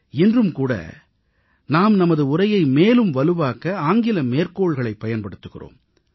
இன்றும்கூட நாம் நமது உரையை மேலும் வலுவாக்க ஆங்கில மேற்கோள்களைப் பயன்படுத்துகிறோம்